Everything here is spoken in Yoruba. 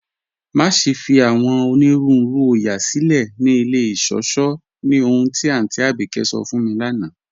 Maṣẹ̀ fi awọn onírùúrù oóyà silẹ̀ ni ilẹ̀ ìṣọ̀ṣọ̀ ní ọ̀hun ti Aunty Abike sọ̀ fún mi lána